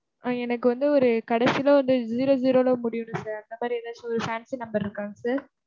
ஆஹ் எனக்கு வந்து ஒரு கடைசில வந்து zero-zero ன்னு முடியனும் sir. அந்த மாதிரி எதாச்சி ஒரு fancy number இருக்கா sir?